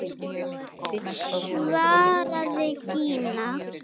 svaraði Gína.